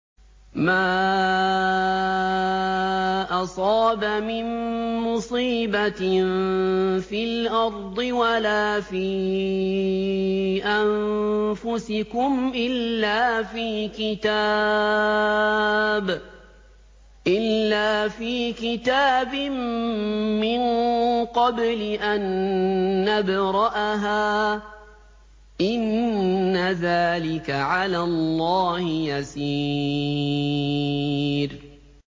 مَا أَصَابَ مِن مُّصِيبَةٍ فِي الْأَرْضِ وَلَا فِي أَنفُسِكُمْ إِلَّا فِي كِتَابٍ مِّن قَبْلِ أَن نَّبْرَأَهَا ۚ إِنَّ ذَٰلِكَ عَلَى اللَّهِ يَسِيرٌ